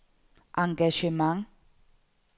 engagement